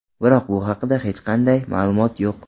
Biroq bu haqida hech qanday ma’lumot yo‘q.